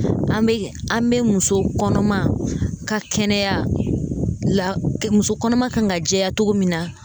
An bɛ muso kɔnɔma ka kɛnɛya la, muso kɔnɔma kan ka jɛya cogo min na.